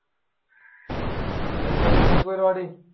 എന്താ നിങ്ങൾക്ക് പരിപാടി?